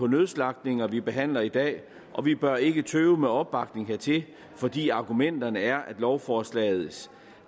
nødslagtninger vi behandler i dag og vi bør ikke tøve med opbakning hertil fordi argumenterne er at lovforslaget